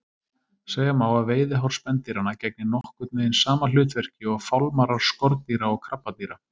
Segja má að veiðihár spendýranna gegni nokkurn veginn sama hlutverki og fálmarar skordýra og krabbadýra.